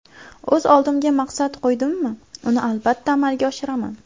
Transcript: O‘z oldimga maqsad qo‘ydimmi, uni albatta amalga oshiraman.